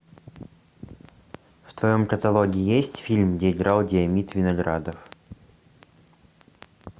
в твоем каталоге есть фильм где играл диомид виноградов